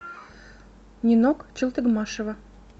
нинок челтыгмашева